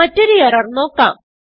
മറ്റൊരു എറർ നോക്കാം